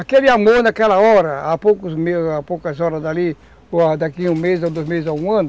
Aquele amor naquela hora, há poucas horas dali, ou daqui um mês ou dois meses ou um ano,